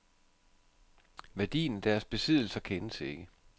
Værdien af deres besiddelser kendes ikke.